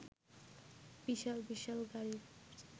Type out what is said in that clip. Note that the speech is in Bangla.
বিশাল বিশাল গাড়ির